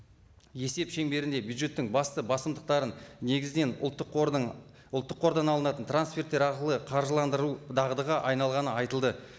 есеп шеңберінде бюджеттің басты басымдықтарын негізден ұлттық қордың ұлттық қордан алынатын трансферттер арқылы қаржыландыру дағдыға айналғаны айтылды